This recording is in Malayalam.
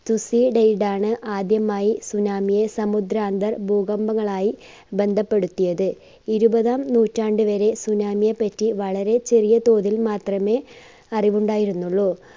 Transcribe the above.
സുസി ആദ്യമായി tsunami യെ സമുദ്രാന്തർ ഭൂകമ്പങ്ങളായി ബന്ധപെടുത്തിയത്. ഇരുപതാം നൂറ്റാണ്ട് വരെ tsunami യെ പറ്റി വളരെ ചെറിയ തോതിൽ മാത്രമേ അറിവുണ്ടായിരുന്നുള്ളു.